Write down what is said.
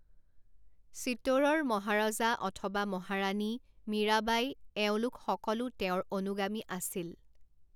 চিতোড়ৰ মহাৰাজা অথবা মহাৰাণী, মীৰাবাই, এওঁলোক সকলো তেওঁৰ অনুগামী আছিল।